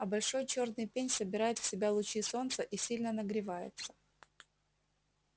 а большой чёрный пень собирает в себя лучи солнца и сильно нагревается